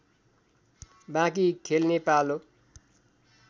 बाँकी खेल्ने पालो